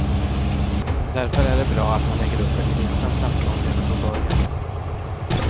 Därför är det bra att man lägger upp en gemensam plattform redan från början.